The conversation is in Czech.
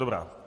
Dobrá.